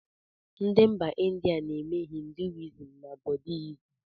Ndị mba India na-eme ‘hinduism na buddihism’